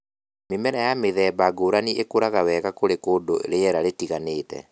Mĩmera ya mĩthemba ngũrani ĩkũraga wega kũri kũndũ rĩera rĩtiganĩte